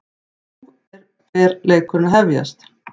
Nú er fer leikurinn að hefjast